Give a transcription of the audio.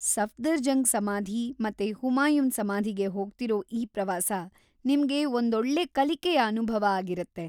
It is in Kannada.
ಸಫ್ದರ್‌ಜಂಗ್‌ ಸಮಾಧಿ ಮತ್ತೆ ಹುಮಾಯೂನ್‌ ಸಮಾಧಿಗೆ ಹೋಗ್ತಿರೋ ಈ ಪ್ರವಾಸ ನಿಮ್ಗೆ ಒಂದ್‌ ಒಳ್ಳೇ ಕಲಿಕೆಯ ಅನುಭವ ಆಗಿರತ್ತೆ.